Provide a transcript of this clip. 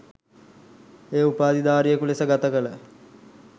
එය උපාධිධාරියෙකු ලෙස ගතකළ